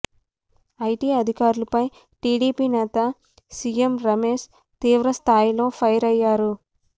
IT అధికారులపై టీడీపీ నేత CM Ramesh తీవ్ర స్థాయిలో ఫైర్ అయ్యారు